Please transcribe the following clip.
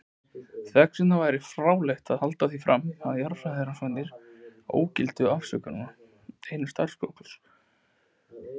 Þessvegna væri fráleitt að halda því fram að jarðfræðirannsóknir ógiltu eða afsönnuðu einn stafkrók sköpunarsögunnar.